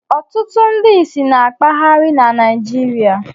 Ọtụtụ ndị ìsì na-akpagharị na Naịjirịa.